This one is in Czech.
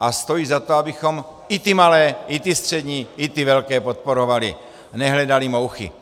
a stojí za to, abychom i ty malé, i ty střední, i ty velké podporovali a nehledali mouchy.